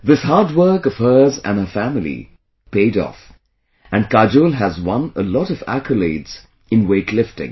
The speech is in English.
This hard work of hers and her family paid off and Kajol has won a lot of accolades in weight lifting